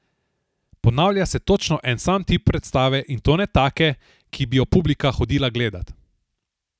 Ponavlja se točno en sam tip predstave, in to ne take, ki bi jo publika hodila gledat.